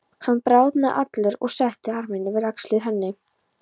Hann bráðnaði allur og setti arminn yfir axlir henni.